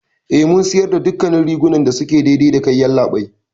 Eh, Mun siyarda dukkannin rigunan da suke daidai dakai, yallaɓai.